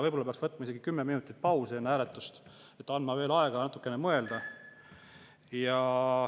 Võib-olla peaks võtma isegi kümme minutit pausi enne hääletust ja andma veel aega natukene mõelda.